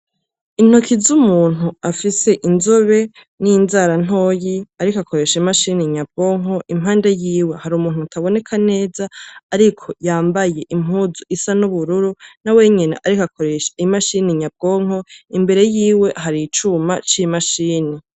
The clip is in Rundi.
Intoki z'umuntu afise inzobe n’inzara ntoyi ariko akoresha imashini nyabwonko, impande yiwe hari umuntu ataboneka neza ariko yambaye impuzu isa n’ubururu nawenyene ariko akoresha imachini nyabwonko imbere yiwe hari icuma c’imashini.